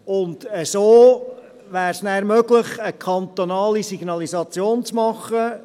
Und so wäre es dann möglich, eine kantonale Signalisation zu machen.